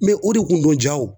o de kun don ja o